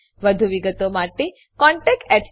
વધુ વિગતો માટે કૃપા કરી contactspoken tutorialorg પર લખો